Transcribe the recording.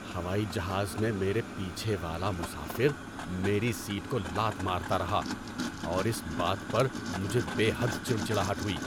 ہوائی جہاز میں میرے پیچھے والا مسافر میری سیٹ کو لات مارتا رہا اور اس بات پر مجھے بے حد چڑچڑاہٹ ہوئی۔